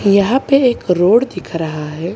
यहां पे एक रोड दिख रहा है।